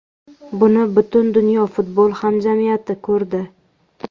Buni butun dunyo futbol hamjamiyati ko‘rdi.